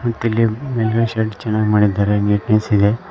ಮತ್ತಿಲ್ಲಿ ಮೇಲ್ಗಡೆ ಶೆಡ್ ಚೆನ್ನಾಗ್ ಮಾಡಿದ್ದಾರೆ ಮತ್ತು ನೀಟ್ನೆಸ್ ಇದೆ.